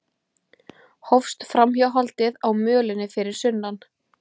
Hófst framhjáhaldið á mölinni fyrir sunnan